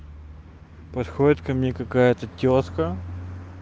подходит ко мне какая-то тётка